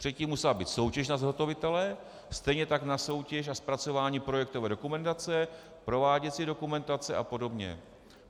Předtím musela být soutěž na zhotovitele, stejně tak na soutěž a zpracování projektové dokumentace, prováděcí dokumentace a podobně.